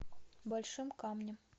большим камнем